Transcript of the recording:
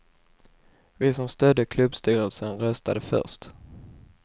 Vi som stödde klubbstyrelsen röstade först.